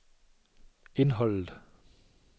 indholdet